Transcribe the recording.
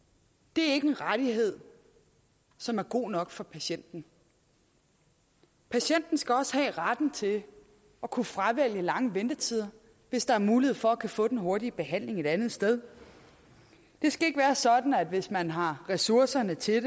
det er ikke en rettighed som er god nok for patienten patienten skal også have retten til at kunne fravælge lange ventetider hvis der er mulighed for at kunne få den hurtige behandling et andet sted det skal ikke være sådan at hvis man har ressourcerne til